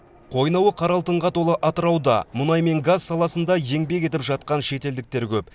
қойнауы қара алтынға толы атырауда мұнай мен газ саласында еңбек етіп жатқан шетелдіктер көп